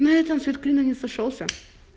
на этом ссвет клином не сошёлся